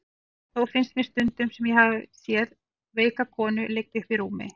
Þó finnst mér stundum sem ég hafi séð veika konu liggja uppi í rúmi.